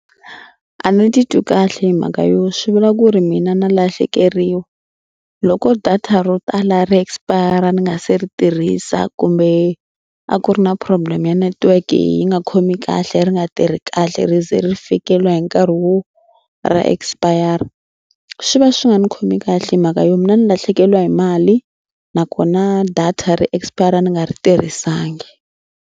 A ni titwi kahle hi mhaka yo swi vula ku ri mina na lahlekeriwa. Loko data ro tala ri expire-a ni nga se ri tirhisa kumbe a ku ri na problem ya network yi nga khomi kahle ri nga tirhi kahle ri ze ri fikeleriwa hi nkarhi wo ra expire swi va swi nga ni khomi kahle hi mhaka yo mina ni lahlekeriwa hi mali nakona data ra expire ri nga ri tirhisangi.